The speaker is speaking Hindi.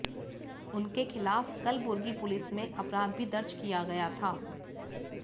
उनके खिलाफ कलबुर्गी पुलिस में अपराध भी दर्ज किया गया था